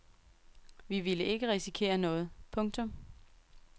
Vi ville ikke risikere noget. punktum